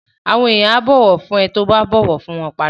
Àwọn èèyàn á bọ̀wọ̀ fún ẹ tí ó bá bọ̀wọ̀ fún wọn padà